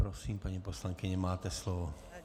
Prosím, paní poslankyně, máte slovo.